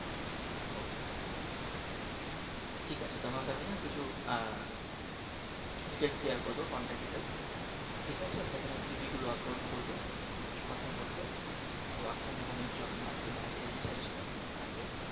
ঠিক আছে তোমাকে আমি না কিছু Details Share করে দেব Contacts Details ঠিক আছে সেখানে CV গুলো Upload করবে কথা বলবে Work From Home এর জন্য আর যদি বাইরে যেতে চাইছো বাইরে